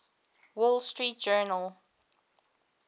wall street journal